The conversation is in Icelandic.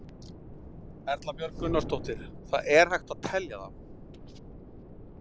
Erla Björg Gunnarsdóttir: Það er hægt að telja þá?